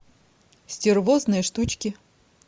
стервозные штучки